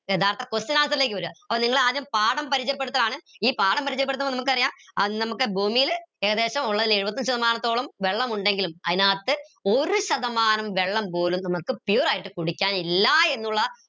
യഥാർത്ഥ question answer ലേക്ക് വര അപ്പൊ നിങ്ങളെ ആദ്യം പാഠം പരിചയപ്പെടുത്തലാണ് ഈ പാഠം പരിചയപ്പെടുത്തുമ്പോ നമുക്കറിയാം ഏർ നമുക്ക് ഭൂമിയിൽ ഉള്ളേൽ ഏകദേശം എഴുപത്തഞ്ച് ശതമാനം വെള്ളമുണ്ടെങ്കിലും അതിനകത്ത് ഒരു ശതമാനം വെള്ളം പോലും നമുക്ക് pure ആയിട്ട് കുടിക്കാൻ ഇല്ല എന്നുള്ള